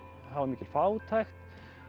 það var mikil fátækt